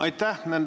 Aitäh!